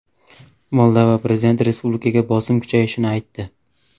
Moldova prezidenti respublikaga bosim kuchayishini aytdi.